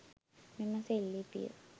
මෙම සෙල්ලිපිය